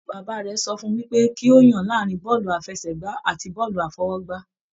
Bàbá rẹ sọ fún wipe ki o yan láàrin bọọlu àfẹ́sẹ̀gbà àti bọọlu afọwọ́gbá.